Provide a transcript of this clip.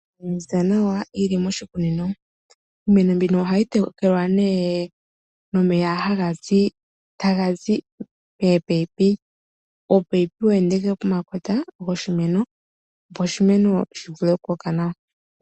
Iimeno yaziza nawa yi li moshikunino. Iimeno mbino ohayi tekelwa nomeya haga zi mominino. Ominino ohadhi kala dheenda pokota goshimeno, opo oshimeno shi vule okukoka nawa.